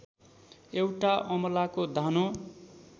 एउटा अमलाको दानो